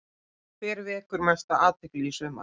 Hver vekur mesta athygli í sumar?